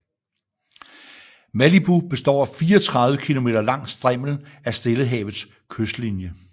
Malibu består af 34 km lang strimmel af Stillehavets kystlinje